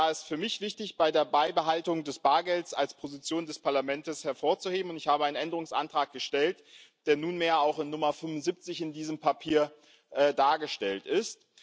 Daher war es für mich wichtig, die Beibehaltung des Bargelds als Position des Parlaments hervorzuheben, und ich habe einen Änderungsantrag gestellt, der nunmehr auch in Nummer 75 in diesem Papier dargestellt ist.